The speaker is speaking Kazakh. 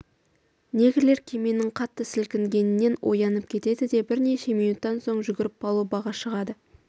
негрлер кеменің қатты сілкінгенінен оянып кетеді де бірнеше минуттан соң жүгіріп палубаға шығады